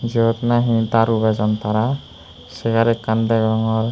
jiyot nahi daru bejon tara hegar ekkan degongor.